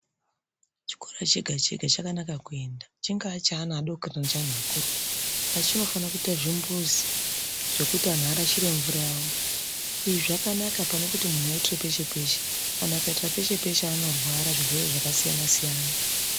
Chikora chega chega chakanaka kuenda chingaa cheana adoko kana cheanhu akuru asi chinofane kuite zvimbuzi zvekuti anhu arashire mvura yawo izvi zvakanaka panekuti munhu aitire peshe peshe kana akaitira peshe peshe anorwara zvirwere zvakasiyanasiyana.